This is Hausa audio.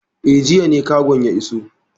Eh, jiya ne kagon ya iso.